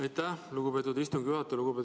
Aitäh, lugupeetud istungi juhataja!